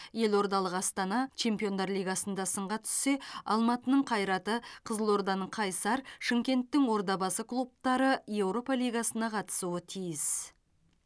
елордалық астана чемпиондар лигасында сынға түссе алматының қайраты қызылорданың қайсар шымкенттің ордабасы клубтары еуропа лигасына қатысуы тиіс